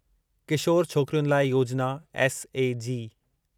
किशोर छोकिरियुनि लाइ योजिना एसएजी